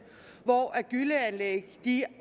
hvor gylleanlæg